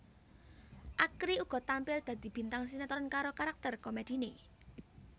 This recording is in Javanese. Akri uga tampil dadi bintang sinetron karo karakter komediné